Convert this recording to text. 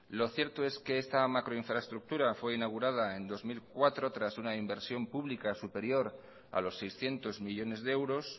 lo cierto es que esta macroinfraestructura fue inaugurada en dos mil cuatro tras una inversión pública superior a los seiscientos millónes de euros